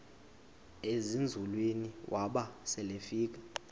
ezinzulwini waba selefika